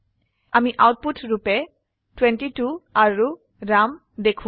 আমি আউটপুট ৰুপে 22 আৰু ৰাম দেখো